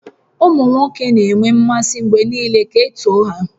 Ụmụ nwoke na-enwe mmasị mgbe niile ka e too ha